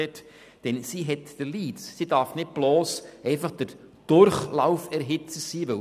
Die KESB haben den Lead und dürfen nicht bloss Durchlauferhitzer sein.